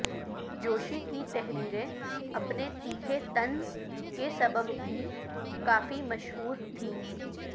جوشی کی تحریریں اپنے تیکھے طنز کے سبب بھی کافی مشہور تھیں